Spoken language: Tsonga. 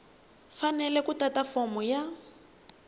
fanele ku tata fomo ya